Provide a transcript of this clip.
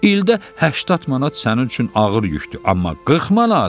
İldə 80 manat sənin üçün ağır yükdür, amma 40 manat.